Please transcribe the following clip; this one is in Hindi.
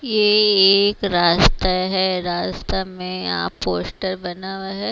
ये एक रास्ता है रास्ता में यहां पोस्टर बना हुआ है।